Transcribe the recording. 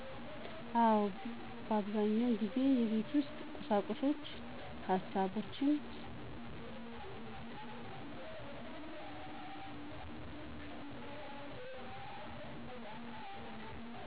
አወ። አብዛኛውን ጊዜ የቤት ውስጥ ቁሳቁሶችን፣ ሀሳቦችን